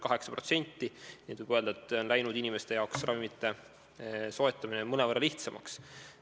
Seega võib öelda, et ravimite soetamine on läinud inimeste jaoks mõnevõrra lihtsamaks.